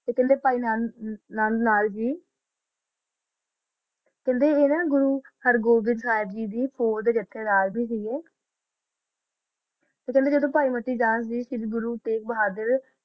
ਖਾਂਦਾ ਪੈ ਹਰ ਨਾਲ ਨਾਂ ਜੀ ਕਿੰਦਾ ਗੁਰੋ ਹਰ ਜੀਤ ਗੀ ਦਾ ਨਾਲ ਜੀ ਖਾਂਦਾ ਜਦੋ ਗੁਰੋ ਤਾ ਬੋਹਾਦਰ